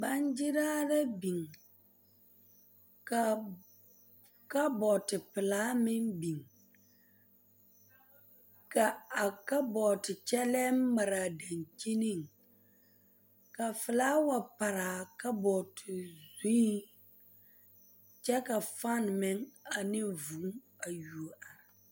Baagyeraa la biŋ ka kapoote pelaa meŋ biŋ ka a kapoote kyɛllɛɛ mare a daŋkyiniŋ ka filaawa pare a kapooto zuiŋ kyɛ ka faani meŋ ane vūū a yuo are.